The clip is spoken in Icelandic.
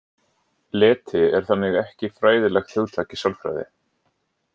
Leti er þannig ekki fræðilegt hugtak í sálfræði.